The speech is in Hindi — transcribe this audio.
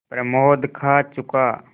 प्रमोद खा चुका